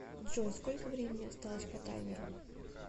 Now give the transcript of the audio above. джой сколько времени осталось по таймеру